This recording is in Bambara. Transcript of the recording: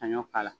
Ka ɲɔ k'ala